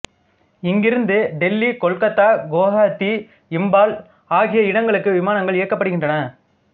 இங்கிருந்து டெல்லிகொல்கத்தா குவகாத்தி இம்பால் ஆகிய இடங்களுக்கு விமானங்கள் இயக்கப்படுகின்றன